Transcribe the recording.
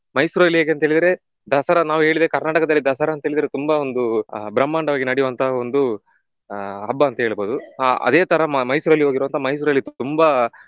ಮೈಸೂರಲ್ಲಿ ಹೇಗಂತೇಳಿದ್ರೆ ದಸರಾ ನಾವು ಹೇಳಿದ್ರೆ ಕರ್ನಾಟಕದಲ್ಲಿ ದಸರಾ ಅಂತ ಹೇಳಿದ್ರೆ ತುಂಬಾ ಒಂದು ಆಹ್ ಬ್ರಹ್ಮಾಂಡವಾಗಿ ನಡಿಯುವಂತ ಒಂದು ಆಹ್ ಹಬ್ಬ ಅಂತ ಹೇಳಬಹುದು. ಆ ಅದೇ ತರ ಮ~ ಮೈಸೂರಲ್ಲಿ ಹೋಗಿರುವಂತ ಮೈಸೂರಲ್ಲಿ ತುಂಬಾ